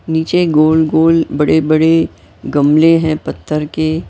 नीचे गोल-गोल बड़े-बड़े गमले हैं पत्थर के--